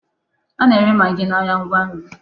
A na-ere magị n'ahịa ngwa nri.